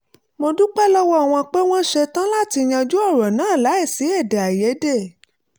mo dúpẹ́ lọ́wọ́ wọn pé wọ́n ṣe tán láti yanjú ọ̀rọ̀ náà láìsí èdèàìyédè